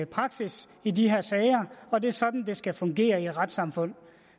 praksis i de her sager og det er sådan det skal fungere i et retssamfund